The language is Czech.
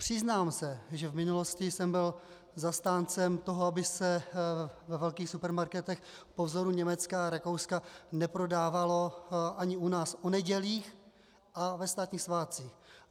Přiznám se, že v minulosti jsem byl zastáncem toho, aby se ve velkých supermarketech po vzoru Německa a Rakouska neprodávalo ani u nás o nedělích a ve státních svátcích.